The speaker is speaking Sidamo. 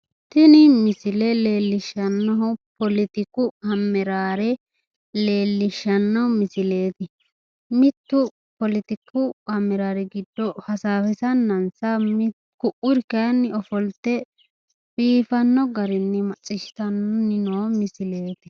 tini misile leellishshannohu poletiku ammeraare leellishshanno misileeti mittu poletiku ammeraare giddo hasaawisannansa ku'uri kayiinni ofolte biifanno garinni macciishshitanni noo misileeti.